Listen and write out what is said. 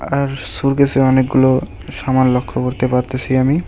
আর সুরকেসে অনেকগুলো সামান লক্ষ্য করতে পারতেসি আমি।